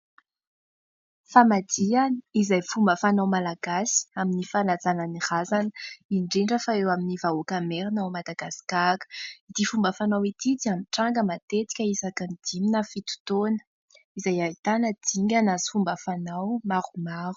Famadihana izay fomba fanao Malagasy amin'ny fanajana ny razana indrindra fa eo amin'ny vahoaka Merina ao Madagasikara, ity fomba fanao ity dia mitranga matetika isaky ny dimy na fito taona izay ahitana dingana sy fomba fanao maromaro.